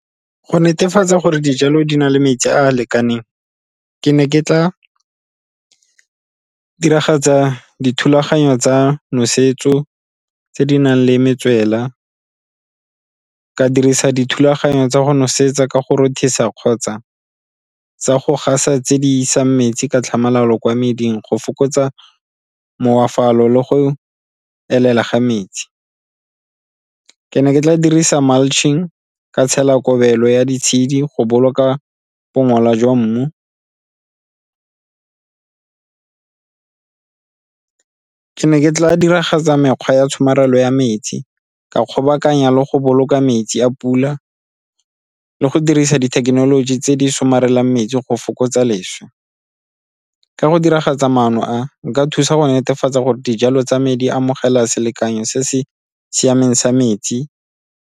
Go netefatsa gore dijalo di na le metsi a a lekaneng ke ne ke tla diragatsa dithulaganyo tsa nosetso tse di nang le metswela, ka dirisa dithulaganyo tsa go nosetsa ka go rothisa kgotsa tsa go gasa tse di isang metsi ka tlhamalalo kwa meding go fokotsa le go elela ga metsi. Ke ne ke tla dirisa mulching, ka tshela kobelo ya ditshedi go boloka bongola jwa mmu. Ke ne ke tla diragatsa mekgwa ya tshomarelo ya metsi, ka kgobokanya le go boloka metsi a pula ka le go dirisa dithekenoloji tse di somarelang metsi go fokotsa leswe. Ka go diragatsa maano a, nka thusa go netefatsa gore dijalo tsa medi amogela selekanyo se se siameng sa metsi.